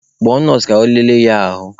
Kpọọ nọọsụ ka ọ lere ya ahụ!